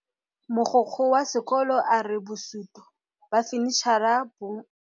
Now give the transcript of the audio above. Mogokgo wa sekolo a re bosutô ba fanitšhara bo kwa moagong o mošwa.